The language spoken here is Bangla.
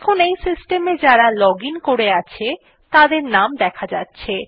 এখন এই সিস্টেম এ যারা লগ আইএন করে আছে তাদের নাম দেখা যাচ্ছে